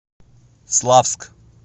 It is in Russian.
славск